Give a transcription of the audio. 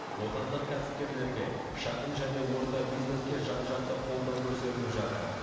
отандық кәсіпкерлерге шағын және орта бизнеске жан жақты қолдау көрсетіліп жатыр